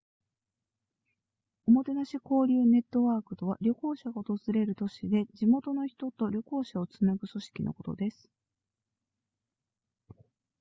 おもてなし交流ネットワークとは旅行者が訪れる都市で地元の人と旅行者をつなぐ組織のことです